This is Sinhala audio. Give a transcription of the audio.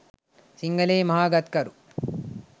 සිංහලයේ මහා ගත්කරු